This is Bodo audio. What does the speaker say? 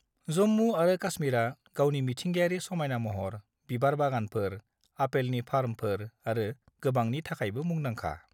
जम्मु आरो काश्मीरा गावनि मिथिंगायारि समायना महर, बिबार बागानफोर, आपेलनि फार्मफोर आरो गोबांनि थाखायबो मुंदांखा।